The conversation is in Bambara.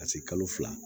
Ka se kalo fila